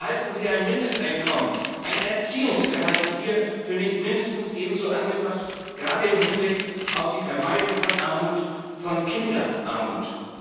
Halten Sie ein Mindesteinkommen, ein Erziehungsgehalt hier nicht für mindestens ebenso angebracht, gerade im Hinblick auf die Vermeidung von Armut, von Kinderarmut?